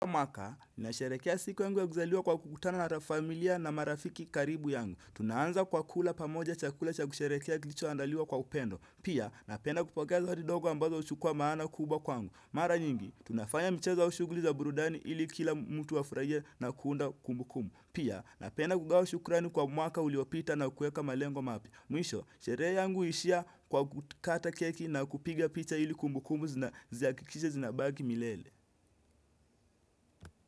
Mwaka, nasherekea siku yangu ya kuzaliwa kwa kukutana na familia na marafiki karibu yangu. Tunaanza kwa kula pamoja chakula cha kusherehekea kilichoandaliwa kwa upendo. Pia, napenda kupokea zawadi ndogo ambazo huchukua maana kubwa kwangu. Mara nyingi, tunafanya mchezo au shughuli za burudani ili kila mtu wa afurahie na kuunda kumbukumbu. Pia, napenda kugawa shukrani kwa mwaka uliopita na kuweka malengo mapya. Mwisho, sherehe yangu huishia kwa kukata keki na kupiga picha ili kumbukumbu zihakikishe zinabaki milele.